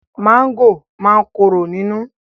Máńgò máa ń ní kóró nínú.